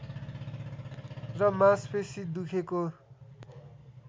र मांसपेशी दुखेको